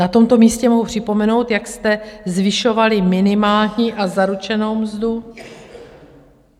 Na tomto místě mohu připomenout, jak jste zvyšovali minimální a zaručenou mzdu.